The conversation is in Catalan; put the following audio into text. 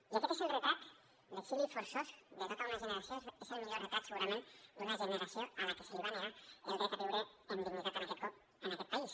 i aquest és el retrat l’exili forçós de tota una generació és el millor retrat segurament d’una generació a la que se li va negar el dret a viure amb dignitat en aquest país